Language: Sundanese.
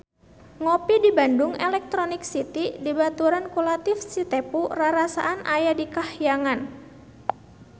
Ngopi di Bandung Electronic City dibaturan ku Latief Sitepu rarasaan aya di kahyangan